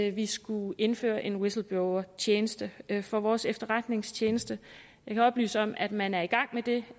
at vi skulle indføre en whistleblowertjeneste for vores efterretningstjeneste jeg kan oplyse om at man er i gang med det